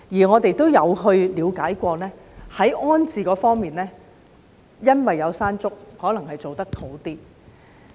我們有了解過，在安置方面，可能因為發生"山竹"事件，所以處理得好一點。